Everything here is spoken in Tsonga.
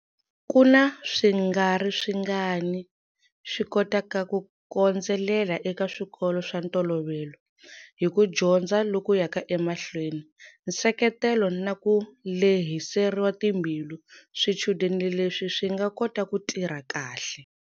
Ku na swingariswingani swi kotaka ku kondzelela eka swikolo swa ntolovelo. Hi ku dyondza loku yaka emahlweni, nseketelo na ku lehiseriwa timbilu, swichudeni leswi swi nga kota ku tirha kahle.